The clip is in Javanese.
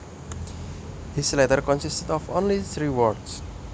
His letter consisted of only three words